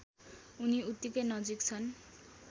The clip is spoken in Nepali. उनी उत्तिकै नजिक छन्